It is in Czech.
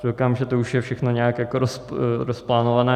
Koukám, že to už je všechno nějak rozplánované.